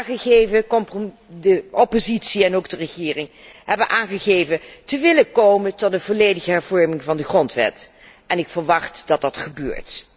De oppositie en ook de regering hebben aangegeven te willen komen tot een volledige hervorming van de grondwet en ik verwacht dat dit gebeurt.